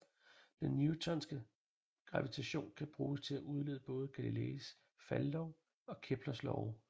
Den newtonske gravitation kan bruges til at udlede både Galileis faldlov og Keplers love